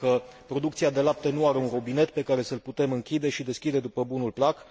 Pentru că producția de lapte nu are un robinet pe care să îl putem închide și deschide după bunul plac.